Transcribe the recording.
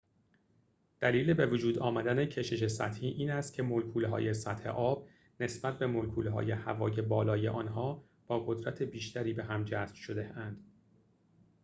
دلیل بوجود آمدن کشش سطحی این است که ملکول‌های سطح آب نسبت به ملکول‌های هوای بالای آنها با قدرت بیشتری به هم جذب شده‌اند